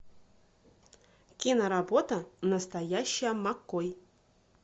киноработа настоящая маккой